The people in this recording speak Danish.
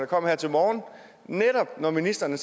kom her til morgen når ministeren